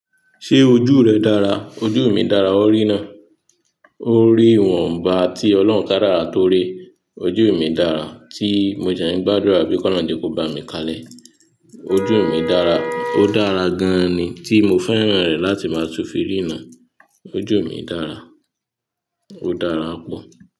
Ṣé ojú rẹ dára? Ojú mi dára, o rí ná. O rí ìwọ̀nba tí Ọlọ́run kadara tó rí. Ojú mi dára, tí mo dẹ́ ń gbàdúrà pẹ́ ki o olorun jẹ́ kò bá mi kalẹ́. Ojú mi dára, ó dára gan ni tí mo féràn rẹ̀ láti máa tun fi ríràn. Ojú mi dára, ó dára pọ̀.